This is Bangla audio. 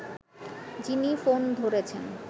যিনি ফোন ধরেছেন